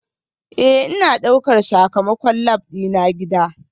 Ee, Ina ɗaukar sakamakon lab dina gida